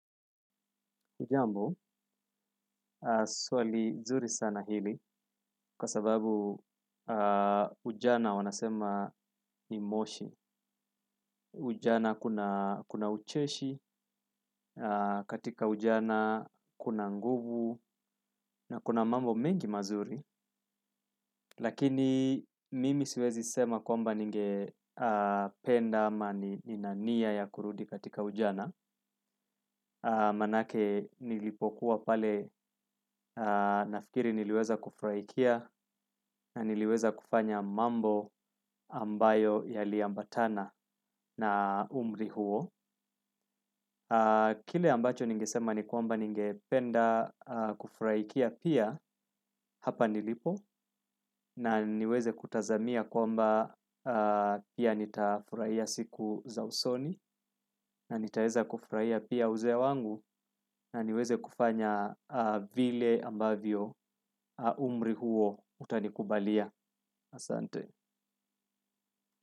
Hujambo, swali nzuri sana hili kwa sababu ujana wanasema ni moshi. Ujana kuna ucheshi, katika ujana kuna nguvu na kuna mambo mengi mazuri. Lakini mimi siwezi sema kwamba ninge penda ama nina nia ya kurudi katika ujana. Manake nilipokuwa pale nafikiri niliweza kufurahikia. Na niliweza kufanya mambo ambayo yali ambatana na umri huo. Kile ambacho nigesema ni kwamba ninge penda kufurahikia pia. Hapa nilipo na niweze kutazamia kwamba pia nitafurahia siku za usoni. Na nitaweza kuufrahia pia uzee ya wangu na niweze kufanya vile ambavyo umri huo utanikubalia. Asante.